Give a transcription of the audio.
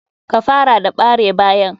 Ka fara da bare bayan.